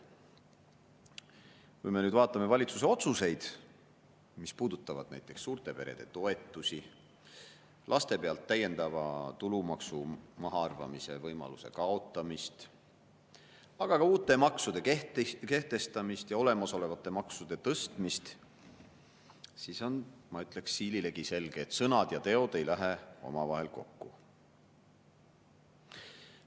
Kui me vaatame valitsuse otsuseid, mis puudutavad näiteks suurte perede toetusi, laste pealt täiendava tulumaksu mahaarvamise võimaluse kaotamist, aga ka uute maksude kehtestamist ja olemasolevate maksude tõstmist, siis on, ma ütleksin, siililegi selge, et sõnad ja teod ei lähe omavahel kokku.